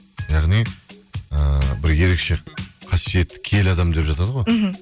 яғни ыыы бір ерекше қасиетті киелі адам деп жатады ғой мхм